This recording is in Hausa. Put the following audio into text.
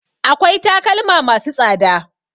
Akwai takalma ma su tsada